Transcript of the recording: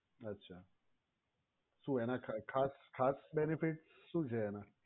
અચ્છા તો એના ખાસ ખાસ benefit શું છે એના.